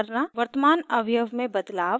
वर्तमान अवयव में बदलाव